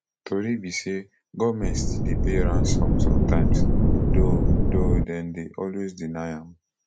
tori be say goment still dey pay ransom sometimes though though dem dey always deny am